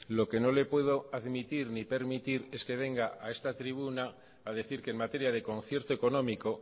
lo que no le puedo admitir ni permitir es que venga a esta tribuna a decir que en materia de concierto económico